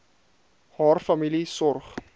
haar familie sorg